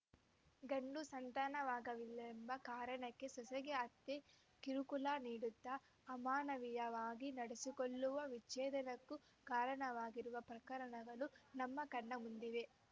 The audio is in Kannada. ಗಂಡು ಸಂತಾನವಾಗಲಿಲ್ಲವೆಂಬ ಕಾರಣಕ್ಕೆ ಸೊಸೆಗೆ ಅತ್ತೆ ಕಿರುಕುಳ ನೀಡುತ್ತಾ ಅಮಾನವೀಯವಾಗಿ ನಡೆಸಿಕೊಳ್ಳುವ ವಿಚ್ಛೇದನಕ್ಕೂ ಕಾರಣವಾಗಿರುವ ಪ್ರಕರಣಗಳೂ ನಮ್ಮ ಕಣ್ಣ ಮುಂದಿವೆ